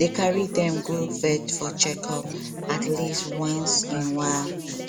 dey carry dem go vet for checkup at least once in while